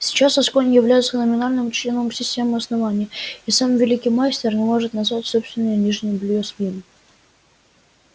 сейчас асконь является номинальным членом системы основания и сам великий мастер не может назвать собственное нижнее бельё своим